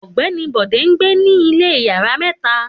Ògbéni Bode ńgbé ní ilé yàrá méta